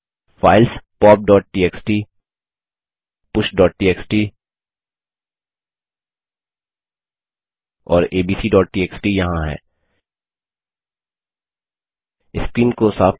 files poptxtpushटीएक्सटी और abcटीएक्सटी यहाँ हैं स्क्रीन को साफ करें